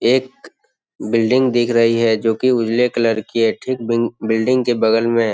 एक बिल्डिंग दिख रही है जो की उजले कलर की है ठीक बिंग बिल्डिंग के बगल में --